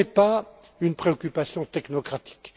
Ce n'est pas une préoccupation technocratique.